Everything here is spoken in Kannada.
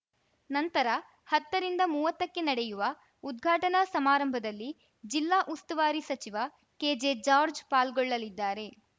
ನಂತರ ಹತ್ತ ರಿಂದಮುವತ್ತಕ್ಕೆ ನಡೆಯುವ ಉದ್ಘಾಟನಾ ಸಮಾರಂಭದಲ್ಲಿ ಜಿಲ್ಲಾ ಉಸ್ತುವಾರಿ ಸಚಿವ ಕೆಜೆ ಜಾರ್ಜ್ ಪಾಲ್ಗೊಳ್ಳಲಿದ್ದಾರೆ